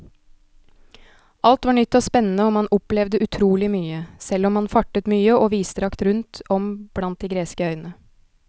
Alt var nytt og spennende og man opplevde utrolig mye, selv om man fartet mye og vidstrakt rundt om blant de greske øyene.